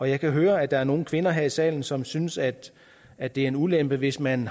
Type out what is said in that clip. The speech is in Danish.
jeg kan høre at der er nogle kvinder her i salen som synes at at det er en ulempe hvis man